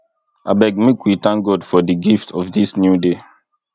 abeg make we thank god for di gift of dis new day